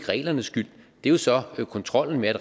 reglernes skyld det er så kontrollen med